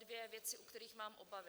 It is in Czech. Dvě věci, u kterých mám obavy.